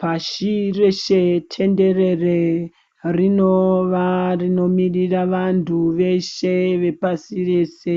Pashi reshe tenderere rinova rinomirira vantu veshe vepasi rese